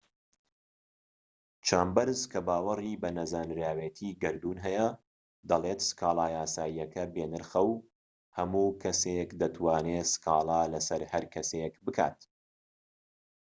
چامبەرس کە باوەری بە نەزانراوێتی گەردوون هەیە دەڵێت سكالا یاساییەکە بێ نرخە و هەموو کەسێك دەتوانێت سکاڵا لەسەر هەرکەسێك بکات